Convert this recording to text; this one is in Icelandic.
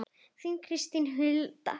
Þín Kristín Hulda.